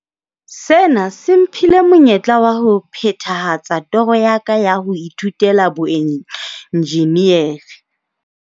Sena se mphile monyetla wa ho phethahatsa toro ya ka ya ho ithutela boenjinere.